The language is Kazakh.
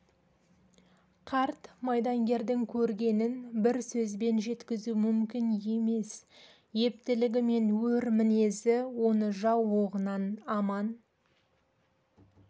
қарт майдангердің көргенін бір сөзбен жеткізу мүмкін емес ептілігі мен өр мінезі оны жау оғынан аман